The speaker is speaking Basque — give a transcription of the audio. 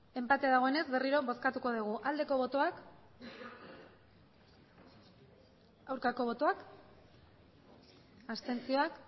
enpate dagoenez berriro bozkatuko dugu aldeko botoak aurkako botoak abstentzioak